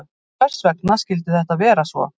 Hvers vegna skyldi þetta vera svo?